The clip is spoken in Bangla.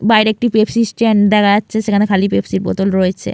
বাইরে একটি পেপসি স্ট্যান্ড দেখা যাচ্ছে সেখানে খালি পেপসির বোতল রয়েছে।